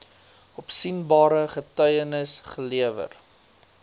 opsienbare getuienis gelewer